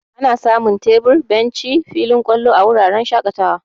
Ana samun tebur, benci, filin ƙwalo, a wuraren shaƙatawa.